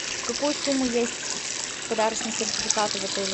какой суммы есть подарочные сертификаты в отеле